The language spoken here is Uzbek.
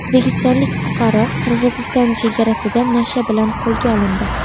O‘zbekistonlik fuqaro Qirg‘iziston chegarasida nasha bilan qo‘lga olindi.